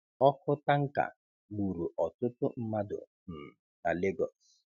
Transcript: Ọkụ tanka gburu ọtụtụ mmadụ um na Lagos